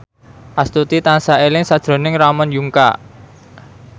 Astuti tansah eling sakjroning Ramon Yungka